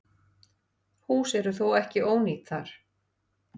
Hús eru þó ekki ónýt þar.